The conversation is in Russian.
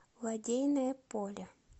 лодейное поле